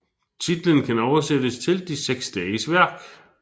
Titlen kan oversættes til De seks dages værk